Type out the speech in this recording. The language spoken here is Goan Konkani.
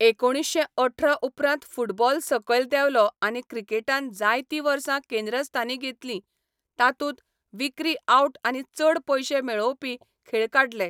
एकुणीशें अठरा उपरांत फुटबॉल सकयल देंवलो आनी क्रिकेटान जायतीं वर्सां केंद्रस्थानी घेतली, तातूंत विक्री आउट आनी चड पयशे मेळोवपी खेळ काडले.